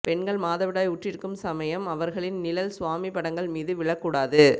பெண்கள் மாதவிடாய் உற்றிருக்கும் சமயம் அவர்களின் நிழல் சுவாமி படங்கள் மீது விழக்கூடாது